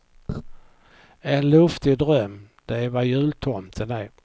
En luftig dröm, det är vad jultomten är.